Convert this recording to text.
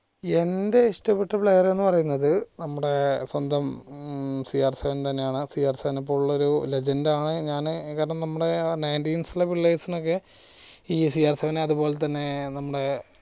എന്റെ ഇഷ്ടപ്പെട്ട player എന്ന് പറയുന്നത് നമ്മുടെ സ്വന്തം ഉം സി ആർ seven തന്നെയാണ് സി ആർ seven നെ പോലുള്ള ഒരു legend ആണ് ഞാന് നമ്മടെ ആ ninteens ലെ പിള്ളേർസിനൊക്കെ ഈ സി ആർ seven അതേപോലെ തന്നെ നമ്മുടെ